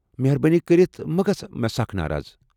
مہر بٲنی کرِتھ مہٕ گژھ مےٚ سخ ناراض۔